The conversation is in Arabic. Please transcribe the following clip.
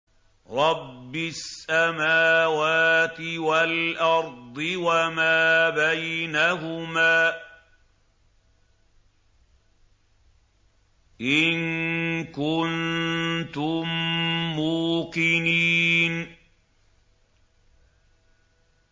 رَبِّ السَّمَاوَاتِ وَالْأَرْضِ وَمَا بَيْنَهُمَا ۖ إِن كُنتُم مُّوقِنِينَ